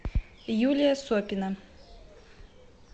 юлия сопина